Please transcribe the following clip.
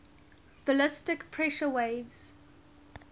ballistic pressure waves